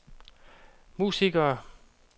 musikere